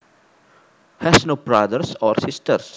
has no brothers or sisters